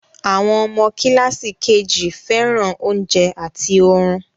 Àwọn ọmọ kíláàsì KG fẹ́ràn oúnjẹ àti orun